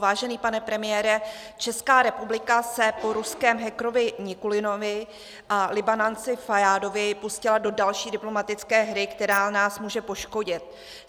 Vážený pane premiére, Česká republika se po ruském hackerovi Nikulinovi a Libanonci Fajádovi pustila do další diplomatické hry, která nás může poškodit.